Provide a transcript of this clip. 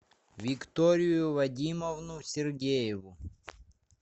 викторию вадимовну сергееву